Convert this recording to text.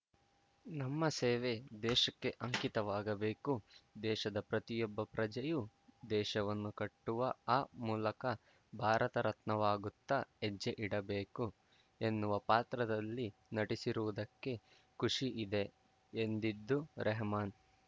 ನಮ್ಮ ಸೇವೆ ದೇಶಕ್ಕೆ ಅಂಕಿತವಾಗಬೇಕು ದೇಶದ ಪ್ರತಿಯೊಬ್ಬ ಪ್ರಜೆಯೂ ದೇಶವನ್ನು ಕಟ್ಟುವ ಆ ಮೂಲಕ ಭಾರತ ರತ್ನವಾಗುತ್ತಾ ಹೆಜ್ಜೆ ಇಡಬೇಕು ಎನ್ನುವ ಪಾತ್ರದಲ್ಲಿ ನಟಿಸಿರುವುದಕ್ಕೆ ಖುಷಿ ಇದೆ ಎಂದಿದ್ದು ರೆಹಮಾನ್‌